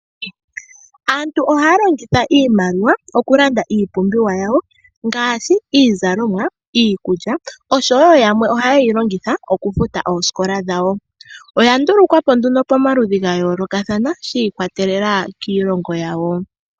Aantu ohaya longitha iimaliwa oku landa iipumbiwa yawo ngaashi iizalomwa, iikulya oshowo yamwe ohaye yi longitha oku futa oosikola dhawo. Oya ndulukwa po nduno pamaludhi ga yoolokathana, shi ikwatelela kiilongo yawo.